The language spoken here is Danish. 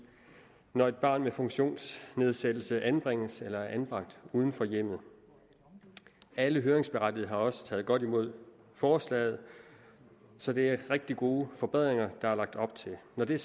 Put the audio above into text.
når et barn med funktionsnedsættelse anbringes eller er anbragt uden for hjemmet alle høringsberettigede har også taget godt imod forslaget så det er rigtig gode forbedringer der er lagt op til når det